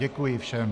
Děkuji všem.